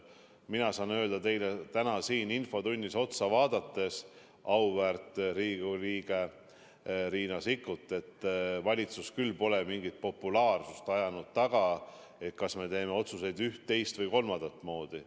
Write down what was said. Mina saan öelda teile, auväärt Riigikogu liige Riina Sikkut, täna siin infotunnis otsa vaadates, et valitsus küll pole mingit populaarsust taga ajanud, kui on kaalunud, kas me teeme otsuseid üht, teist või kolmandat moodi.